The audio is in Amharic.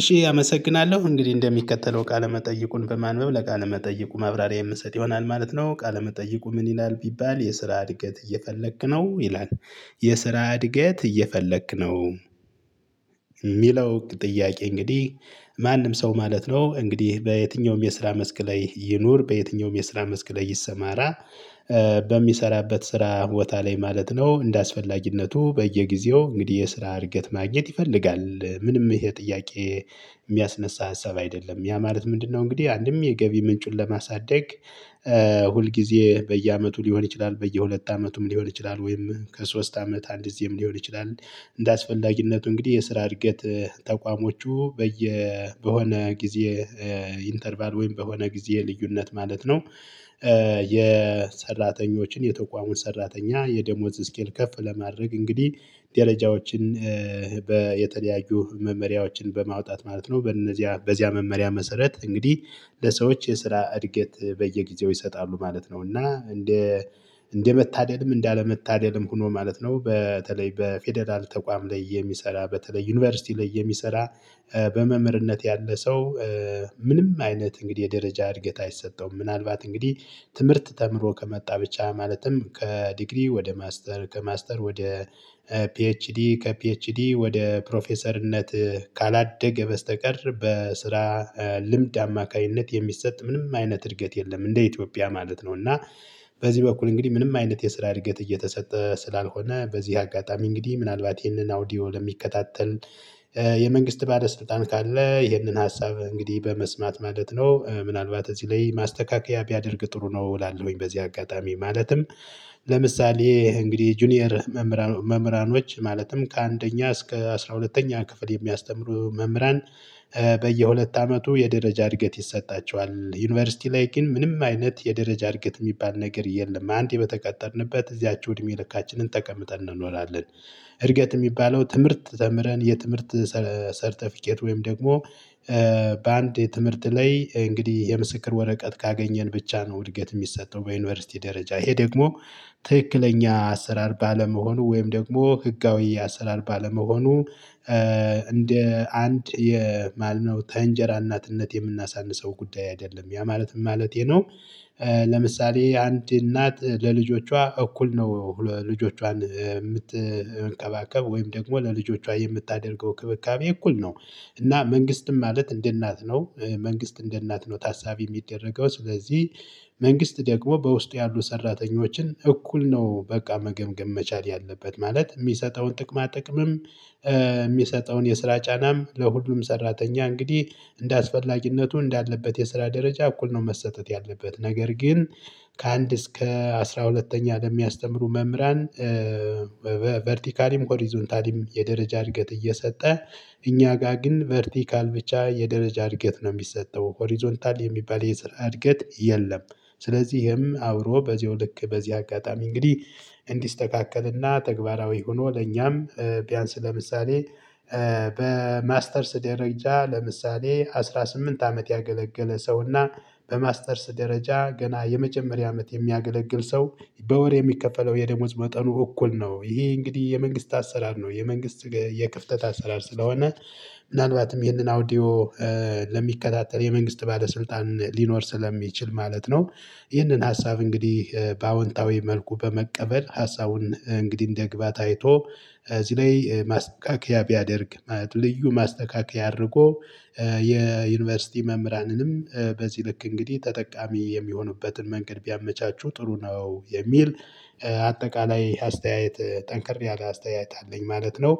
እሺ አመሰግናለሁ እንግዲህ እንደሚከተለው ቃለመጠይቁን በማንበብ ለቃመጠይቁ ማብራሪያ የምሰጥ ይሆናል ማለት ነው ቃለመጠይቁ ምን ይላል ቢባል የስራ እድገት እየፈለክ ነው ይላል? የስራ እድገት እየፈለክ ነው። ሚለው ጥያቄ እንግዲህ ማንም ሰው ማለት ነው እንግዲህ በየትኛውም የስራ መስክ ላይ ይኑር በየትኛውም የስራ መስክ ላይ ይሰማራ። በሚሰራበት ስራ ቦታ ላይ ማለት ነው እንደአስፈላጊነቱ በየጊዜው እንግዲህ የስራ እድገት ማግኘት ይፈልጋል። ምንም ይሄ ጥያቄ የሚያስነሳ ሀሳብ አይደለም ያ ማለት ምንድነው? እንግዲህ አንድም የገቢ ምንጩን ለማሳደግ ሁል ጊዜ በየአመቱ ሊሆን ይችላል። በየሁለት አመቱም ሊሆን ይችላል ወይም ከሶስት አመት አንድ ጊዜም ሊሆን ይችላል። እንደ አስፈላጊነቱ እንግዲህ የስራ እድገት ተቋሞቹ በየ በሆነ ጊዜ ኢንተርቫል ወይም በሆነ ጊዜ የልዩነት ማለት ነው። የሰራተኞችን የተቋሙን ሰራተኛ የደሞዝ ስኬል ከፍ ለማድረግ እንግዲህ ደረጃዎችን በየተለያዩ መመሪያዎችን በማውጣት ማለት ነው በነዚያ በዚያ መመሪያ መሰረት እንግዲህ ለሰዎች የስራ እድገት በየጊዜው ይሰጣሉ ማለት ነው። እና እንደ እንደመታደልም እንዳለመታደልም ሆኖ ማለት ነው በተለይ በፌደራል ተቋም ላይ የሚሰራ በተለይ ዩኒቨርሲቲ ላይ የሚሰራ። በመምህርነት ያለ ሰው ምንም አይነት እንግዲህ የደረጃ እድገት አይሰጠውም። ምናልባት እንግዲህ ትምህርት ተምሮ ከመጣ ብቻ ማለትም ከዲግሪ ወደ ማስተር ከማስተር ወደ ፒኤችዲ ከፒኤችዲ ወደ ፕሮፌሰርነት ካላደገ በስተቀር በስራ ልምድ አማካኝነት የሚሰጥ ምንም አይነት እድገት የለም። እንደ ኢትዮጵያ ማለት ነው። እና በዚህ በኩል እንግዲህ ምንም አይነት የስራ እድገት እየተሰጠ ስላልሆነ በዚህ አጋጣሚ እንግዲህ ምናልባት ይሄንን አውዲዮ ለሚከታተል የመንግስት ባለስልጣን ካለ ይህንን ሀሳብ እንግዲህ በመስማት ማለት ነው ምናልባት እዚህ ላይ ማስተካከያ ቢያደርግ ጥሩ ነው። እላለውኝ በዚህ አጋጣሚ ማለትም ለምሳሌ እንግዲህ ጁኒየር መምህራኖች ማለትም ከአንደኛ እስከ አስራ ሁለተኛ ክፍል የሚያስተምሩ መምህራን በየሁለት አመቱ የደረጃ እድገት ይሰጣቸዋል። ዩኒቨርሲቲ ላይ ግን ምንም አይነት የደረጃ እድገት የሚባል ነገር የለም። አንዴ በተቀጠርንበት እዚያችሁ እድሜ ልካችንን ተቀምጠን እንኖራለን። እድገት የሚባለው ትምህርት ተምረን የትምህርት ሰርተፊኬት ወይም ደግሞ በአንድ የትምህርት ላይ እንግዲህ የምስክር ወረቀት ካገኘን ብቻ ነው። እድገት የሚሰጠው በዩኒቨርሲቲ ደረጃ ይሄ ደግሞ ትክክለኛ አሰራር ባለመሆኑ ወይም ደግሞ ህጋዊ አሰራር ባለመሆኑ እንደ አንድ ማለት ነው። ከንጀራ እናትነት የምናሳንሰው ጉዳይ አይደለም ያ ማለት ማለቴ ነው። ለምሳሌ አንድ እናት ለልጆቿ እኩል ነው ልጆቿን የምትንከባከበዉወይም ደግሞ ለልጆቿ የምታደርገው እክብካቤ እኩል ነው። እና መንግስትም ማለት እንደ እናት ነው መንግስት እንደ እናት ነው ታሳቢ የሚደረገው። ስለዚህ መንግስት ደግሞ በውስጥ ያሉ ሰራተኞችን እኩል ነው በቃ መገምገም መቻል ያለበት ማለት የሚሰጠውን ጥቅማ ጥቅምም የሚሰጠውን የስራ ጫናም ለሁሉም ሰራተኛ እንግዲህ እንደ አስፈላጊነቱ እንዳለበት የስራ ደረጃ እኩል ነው። መሰጠት ያለበት ነገር ግን ከአንድ እስከ አስራ ሁለተኛ ለሚያስተምሩ መምህራን ቨርቲካሊም ሆሪዞንታሊም የደረጃ እድገት እየሰጠ እኛ ጋር ግን ቨርቲካል ብቻ የደረጃ እድገት ነው የሚሰጠው ሆሪዞንታል የሚባል የስራ እድገት የለም። ስለዚህም አብሮ በዚው ልክ በዚህ አጋጣሚ እንግዲህ እንዲስተካከልና ተግባራዊ ሆኖ ለኛም ቢያንስ ለምሳሌ በማስተርስ ደረጃ ለምሳሌ አስራ ስምንት አመት ያገለገለ ሰውና በማስተርስ ደረጃ ገና የመጀመሪያ አመት የሚያገለግል ሰው በወር የሚከፈለው የደሞዝ መጠኑ እኩል ነው። ይሄ እንግዲህ የመንግስት አሰራር ነው። የመንግስት የክፍተት አሰራር ስለሆነ ምናልባትም ይህንን አውዲዮ ለሚከታተል የመንግስት ባለስልጣን ሊኖር ስለሚችል ማለት ነው። ይህንን ሀሳብ እንግዲህ በአዎንታዊ መልኩ በመቀበል ሀሳቡን እንግዲህ እንደግባት አይቶ እዚህ ላይ ማስተካከያ ቢያደርግ ማለት ነው። ልዩ ማስተካከያ አድርጎ የዩኒቨርሲቲ መምህራንንም በዚህ ልክ እንግዲህ ተጠቃሚ የሚሆኑበትን መንገድ ቢያመቻቹ ጥሩ ነው። የሚል አጠቃላይ አስተያየት ጠንክር ያለ አስተያየት አለኝ ማለት ነው።